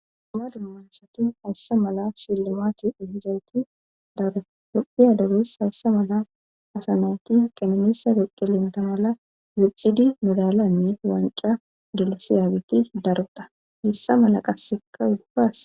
dala dumansati hayssa mala sillumati ohizayti daru dophiya deres hayssa mala asanayti kannisa doqi linta mala wuxidi midalanne wanca gelisi yaagiti daruda hessa mala qasseka ugupas